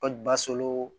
Kɔli baso